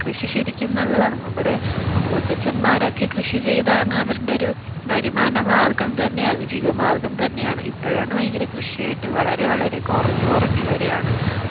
കൃഷി ശരിക്കും നല്ലതാണ് നമ്മുടെ മുതുമുത്തച്ഛമാരൊക്കെ കൃഷി ചെയ്താണ് അവരുടെ ഒരു വരുമാനമാർഗം തന്നെ അതിജീവ മാർഗ്ഗം തന്നെയാണ് ഇപ്പോഴാണ് വളരെ കൃഷി ആയിട്ട് വളരെ വളരെ കുറഞ്ഞു കുറഞ്ഞു വരികയാണ്.